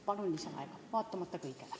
Palun lisaaega, vaatamata kõigele!